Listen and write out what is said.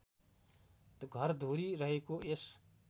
घरधुरी रहेको यस